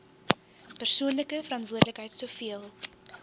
persoonlike verantwoordelikheid soveel